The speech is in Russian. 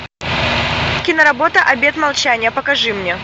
киноработа обет молчания покажи мне